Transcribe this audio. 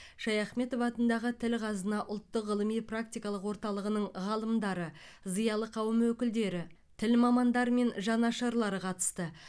шаяхметов атындағы тіл қазына ұлттық ғылыми практикалық орталығының ғалымдары зиялы қауым өкілдері тіл мамандары мен жанашырлары қатысты